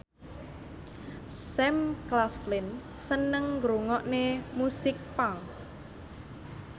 Sam Claflin seneng ngrungokne musik punk